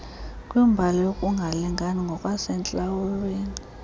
kwimbali yokungalingani ngokwasentlalweni